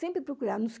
Sempre procurar.